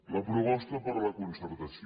la proposta per la concertació